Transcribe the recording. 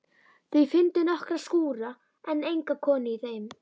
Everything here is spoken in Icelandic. Þau fundu nokkra skúra en enga konu í þeim.